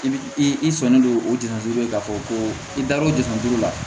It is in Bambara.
I bi i sɔn ne don o diŋɛ duuru la ka fɔ ko i da r'o de kun la